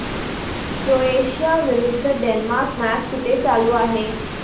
Croatia विरुद्ध Denmark match कुठे चालू आहे